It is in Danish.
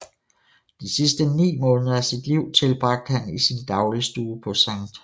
De sidste ni måneder af sit liv tilbragte han i sin dagligstue på St